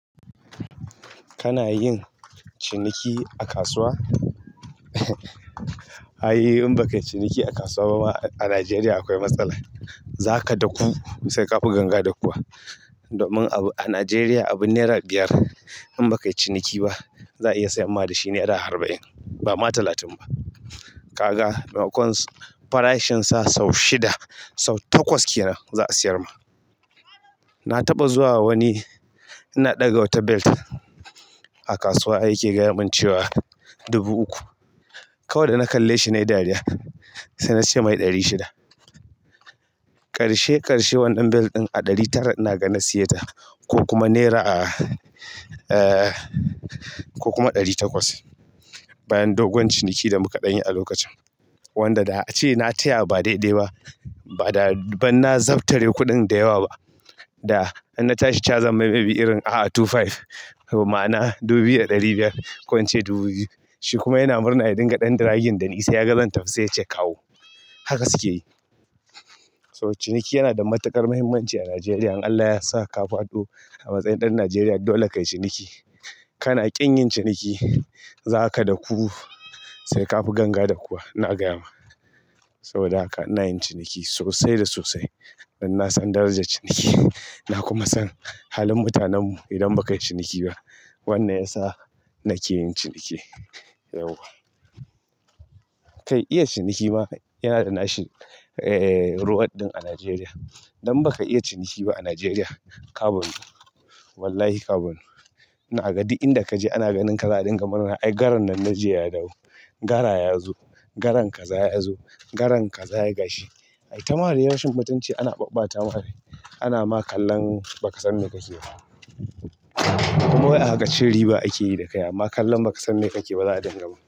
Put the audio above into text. Kana yin ciniki a kasuwa? Ai, in baka yi ciniki a kasuwa ba a Najeriya akwai matsala. Za ka daku sai ka fi ganga dakuwa. Domin abu a Najeriya, abin naira biyar in baka yi ciniki ba, za'a iya sayar ma da shi naira arba'in, ba ma talatin ba. Kaga kusan farashinsa sau shida, sau takwas kenan za'a sayarma na taɓa zuwa wani, ina ɗaga wata belt a kasuwa ai yake gayamun cewa dubu uku. Kawai da na kalle shi na yi dariya. Sai na ce "mai ɗari shida". Ƙarshe ƙarshe wannan belt ɗin a ɗari tara inaga na siya ta ko kuma naira, eh ko kuma ɗari takwas. Bayan dogon ciniki da muka ɗanyi a lokacin. Wanda da ace na taya ba daidai ba, ba'da ban na zaptare kuɗin da yawa ba. Da in na tashi cewa zammai maybe irin a'a two five. Ma'ana dubiya ɗari biyar. Kwan ce dubu biyu. Shi kuma yana murna ya dinga ɗan draging dani sai yaga zantafi sai yace kawo. Haka suke yi. So ciniki yana da matuƙar muhimmanci a Najeriya. In Allah yasa ka faɗo amatsayin ɗan Nigeria dode kayi ciniki. Kana ƙin yin ciniki, za ka daku sai ka fi ganga dakuwa. Ina gaya ma. Saboda haka ina yin ciniki sosai da sosai. Dan na san darajar ciniki. Na kuma san halin mutanen mu idan ba kayi ciniki ba. Wannan ya sa nake yin ciniki. Yauwa. Kai iya ciniki mafa yana da nashi, eh reward ɗin a Najeriya. Idan baka iya ciniki ba a Najeriya, ka banu. Wallahi ka banu. Inaga duk inda kaje ana ganin ka za'adinga murna. Ai garan nan na jiya ya dawo. Gara yazo. Garan kaza yazo. Garan kaza ya gashi. Ayi tama dai rashin mutunci ana babbatama rai ana ma kallon ba ka san me kake ba. Kuma wai a haka cin riba ake yi da kaya. Amma kallan ba ka san me kake ba za'adingama.